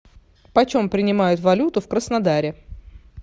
почем принимают валюту в краснодаре